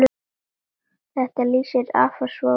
Þetta lýsir afa svo vel.